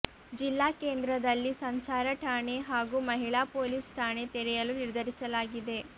ಜಿಲ್ಲಾ ಕೇಂದ್ರದಲ್ಲಿ ಸಂಚಾರ ಠಾಣೆ ಹಾಗೂ ಮಹಿಳಾ ಪೊಲೀಸ್ ಠಾಣೆ ತೆರೆಯಲು ನಿರ್ಧರಿಸಲಾಗಿದೆ